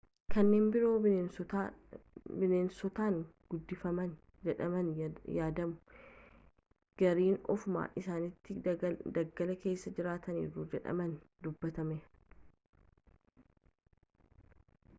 kanneen biroon bineensotaan guddifaman jedhamanii yaadamu gariin ofuma isaaniitiin daggala keessa jiraataniiru jedhamee dubbatama